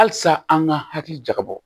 Halisa an ka hakili jakabɔ